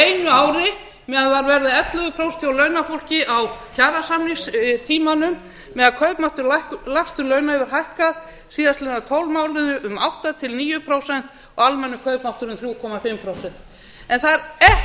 einu ári meðan það varð ellefu prósent hjá launafólki á kjarasamningstímanum meðan kaupmáttur lægstu launa hefur hækkað síðastliðna tólf mánuði um átta til níu prósent og almennur kaupmáttur um þrjú og hálft prósent það er ekkert